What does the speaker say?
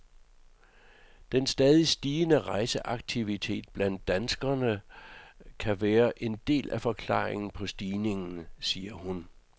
Den stadigt stigende rejseaktivitet blandt danskerne kan være en del af forklaringen på stigningen, siger hun.